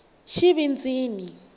xivindzini